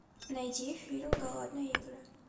найди фильм голодные игры